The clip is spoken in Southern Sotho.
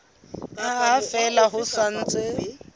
ha fela ho sa ntse